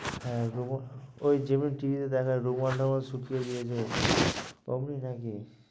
হ্যাঁ রমাঃ ওই যেমন TV তে দেখায় রোমান নগর সুপ্, অমনি নাকি?